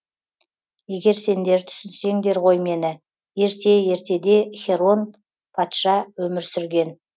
егер сендер түсінсеңдер ғой мені ерте ертеде херон патша өмір сүрген